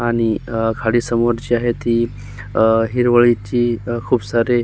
आणि खाली समोर जी आहे ती हिरवळीची खूप सारी--